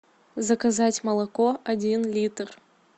заказать молоко один литр